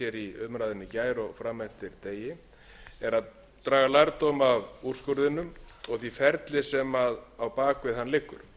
í gær og fram eftir degi er að draga lærdóm af úrskurðinum og því ferli sem á bak við hann liggur